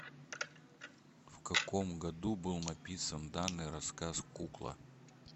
в каком году был написан данный рассказ кукла